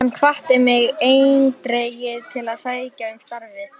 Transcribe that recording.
Hann hvatti mig eindregið til að sækja um starfið.